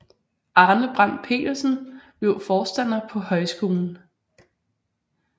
Arne Brandt Pedersen blev forstander på højskolen